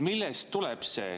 Millest see tuleb?